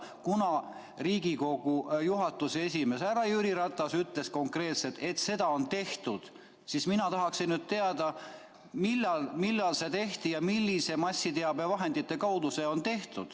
Kuna Riigikogu juhatuse esimees härra Jüri Ratas ütles konkreetselt, et seda on tehtud, siis mina tahaksin teada, millal seda tehti ja milliste massiteabevahendite kaudu seda tehti.